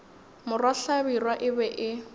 morwa hlabirwa e be e